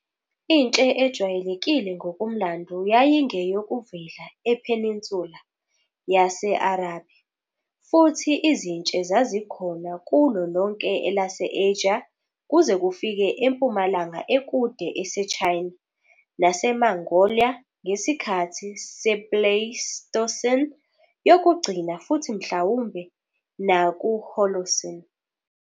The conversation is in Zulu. Intshe ejwayelekile ngokomlando yayingeyokuvela ePeninsula yase-Arabia, futhi izintshe zazikhona kulo lonke elase-Asia kuze kufike empumalanga ekude ese-China naseMongolia ngesikhathi se-Pleistocene Yokugcina futhi mhlawumbe nakuI-Holocene.